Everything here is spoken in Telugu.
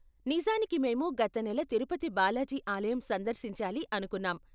నిజానికి మేము గత నెల తిరుపతి బాలాజీ ఆలయం సందర్శించాలి అనుకున్నాం.